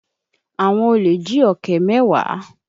Àwọn olè jí ọ̀kẹ́ mẹ́wàá.